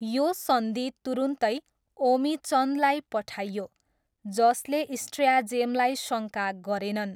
यो सन्धि तुरुन्तै ओमिचन्दलाई पठाइयो, जसले स्ट्र्याजेमलाई शङ्का गरेनन्।